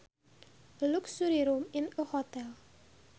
A luxury room in a hotel